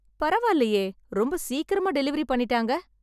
பரவாலயே ரொம்ப சிக்கராமா டெலிவரி பண்ணிட்டாங்க